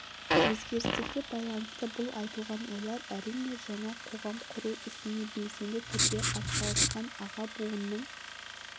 өзгерістерге байланысты бұл айтылған ойлар әрине жаңа қоғам құру ісіне белсенді түрде атсалысқан аға буынның